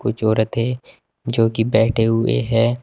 चोरथे जो कि बैठे हुए है।